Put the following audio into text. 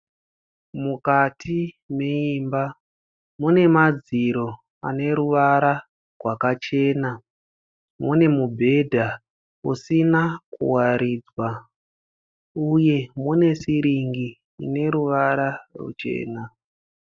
Mukati meimba mune madziro aneruvara gwakachena. Mune mubhedha usina kuwaridzwa uye mune siringi ine ruvara ruchena.